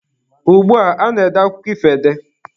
Ugbua, a na-ede akụkọ ifo ede.